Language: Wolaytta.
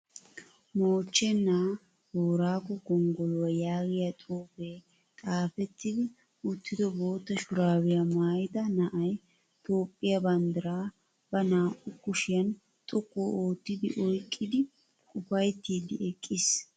Moochchenaa boorago gonggoluwaa yaagiyaa xuupe xaapetti uttido boottaa shuraabiyaa maayyida na'ayi toophphiyaa banddiraa ba naa'u kushiyan xoqqu ootti oyiqqid upayittiiddi eqqis.